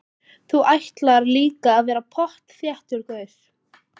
Þú ætlar líka að verða pottþéttur gaur.